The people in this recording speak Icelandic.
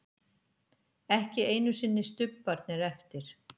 Ekki einu sinni stubbarnir eftir.